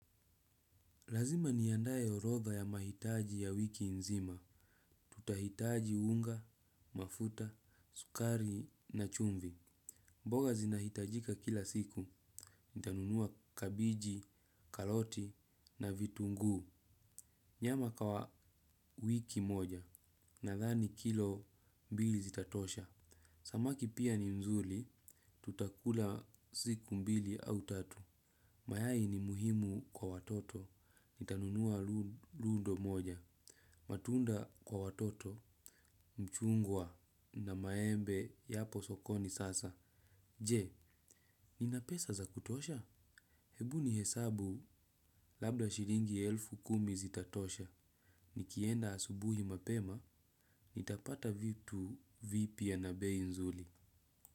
Lazima niandaye orodha ya mahitaji ya wiki nzima. Tutahitaji unga, mafuta, sukari na chumvi. Mboga zinahitajika kila siku. Nitanunua kabiji, kaloti na vitunguu. Nyama kawa wiki moja nadhani kilo mbili zitatosha. Samaki pia mzuri tutakula siku mbili au tatu. Mayai ni muhimu kwa watoto. Nitanunua lundo moja. Matunda kwa watoto, mchungwa na maembe yapo sokoni sasa. Je, nina pesa za kutosha? Hebu nihesabu labda shilingi elfu kumi zitatosha. Nikienda asubuhi mapema, nitapata vitu vipya na bei nzuri.